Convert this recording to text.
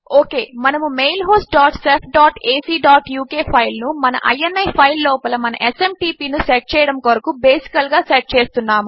okay మనము mail host dot shef dot AC dot UK file ను మన ఇని ఫైల్ లోపల మన ఎస్ఎంటీపీ ను సెట్ చేయడము కొరకు బేసికల్ గా సెట్ చేస్తున్నాము